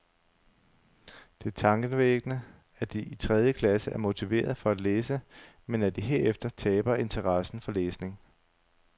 Det er tankevækkende at de i tredje klasse er motiverede for at læse, men at de herefter taber interessen for læsning.